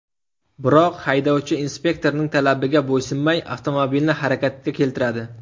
Biroq haydovchi inspektorning talabiga bo‘ysunmay, avtomobilni harakatga keltiradi.